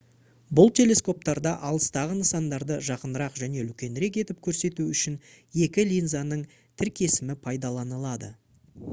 бұл телескоптарда алыстағы нысандарды жақынырақ және үлкенірек етіп көрсету үшін екі линзаның тіркесімі пайдаланылды